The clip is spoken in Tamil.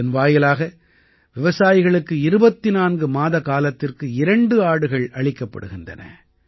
இதன் வாயிலாக விவசாயிகளுக்கு 24 மாதக்காலத்திற்கு 2 ஆடுகள் அளிக்கப்படுகின்றன